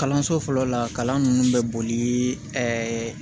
Kalanso fɔlɔ la kalan ninnu bɛ boli ɛɛ